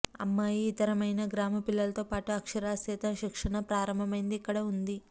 అమ్మాయి ఇతరమైన గ్రామ పిల్లలతో పాటు అక్షరాస్యత శిక్షణ ప్రారంభమైంది ఇక్కడ ఉంది